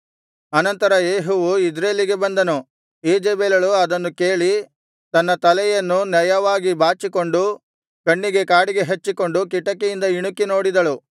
ಅನಂತರ ಯೇಹುವು ಇಜ್ರೇಲಿಗೆ ಬಂದನು ಈಜೆಬೆಲಳು ಅದನ್ನು ಕೇಳಿ ತನ್ನ ತಲೆಯನ್ನು ನಯವಾಗಿ ಬಾಚಿಕೊಂಡು ಕಣ್ಣಿಗೆ ಕಾಡಿಗೆ ಹಚ್ಚಿಕೊಂಡು ಕಿಟಕಿಯಿಂದ ಇಣುಕಿ ನೋಡಿದಳು